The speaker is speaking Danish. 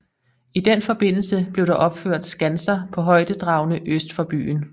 I den forbindelse blev der opført skanser på højdedragene øst for byen